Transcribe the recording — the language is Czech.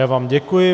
Já vám děkuji.